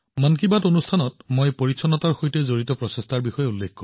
মন কী বাতত আমি সদায় স্বচ্ছতাৰ আগ্ৰহীসকলৰ প্ৰচেষ্টাৰ বিষয়ে কও